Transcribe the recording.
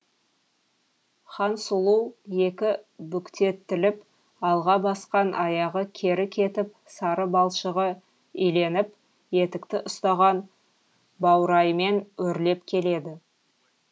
хансұлу екі бүктетіліп алға басқан аяғы кері кетіп сары балшығы иленіп етікті ұстаған баураймен өрлеп келеді